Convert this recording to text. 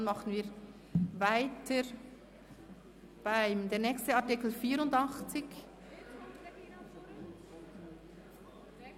Dann machen wir weiter, mit dem nächsten Artikel 84. ).